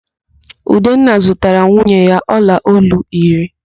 Udenna zụtaara nwunye ya ọlaolu iri